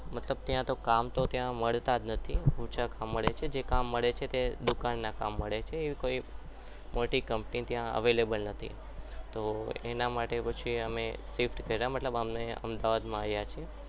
મતલબ ત્યાં તો અમને કામ મળતા જ ન હતા મળે છે પણ ઓછા મળે છે જે મળે છે તે દુકાનના કામ મળે છે મોટી company કોઈ નથી એના માટે અમે shift કર્યા એટલે કે અમે અમદાવાદ આવ્યા છીએ